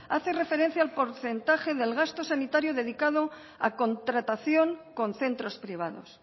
hace referencia al porcentaje del gasto sanitario dedicado a contratación con centros privados